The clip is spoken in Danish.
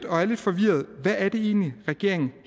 og er lidt forvirret hvad er det egentlig regeringen